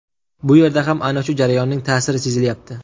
Bu yerda ham ana shu jarayonning ta’siri sezilyapti.